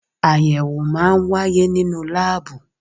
Ayẹwo máa ń wáyé nínú láàbù